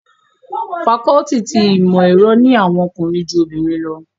Fakọluti ti Imọ-ẹrọ ni awọn ọkunrin ju obinrin lọ